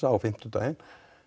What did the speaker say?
á fimmtudaginn